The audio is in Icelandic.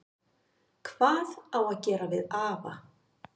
Hvað á að gera við afa?